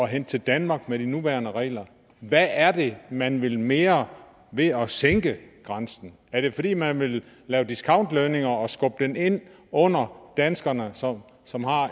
hente til danmark med de nuværende regler hvad er det man vil mere ved at sænke grænsen er det fordi man vil lave discountlønninger og skubbe det ind under danskerne som som har